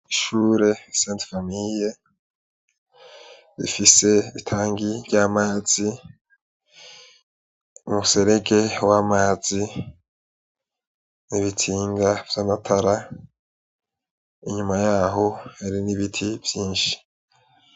Ishure saint famille rifise itangi ry'amazi umuserege w'amazi n'ibitsinga vy'amatara inyuma yaho hari n'ibiti vyinshi.